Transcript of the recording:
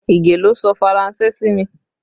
Ige ló sọ Faranse sí mi